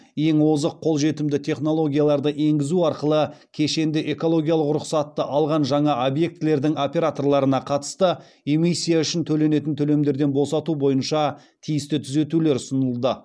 ең озық қолжетімді технологияларды енгізу арқылы кешенді экологиялық рұқсатты алған жаңа объектілердің операторларына қатысты эмиссия үшін төленетін төлемдерден босату бойынша тиісті түзетулер ұсынылды